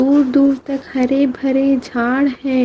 दूर दूर तक हरे भरे झाड़ है।